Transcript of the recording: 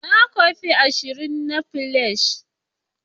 Na kwafi ashirin na fliers.